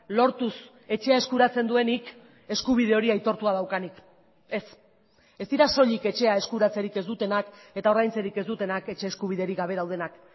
lortuz etxea eskuratzen duenik eskubide hori aitortua daukanik ez ez dira soilik etxea eskuratzerik ez dutenak eta ordaintzerik ez dutenak etxe eskubiderik gabe daudenak